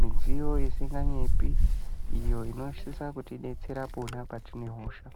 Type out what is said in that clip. midziyo isinganyepi iyo inosisa kutidetsera patinenge tine hosha.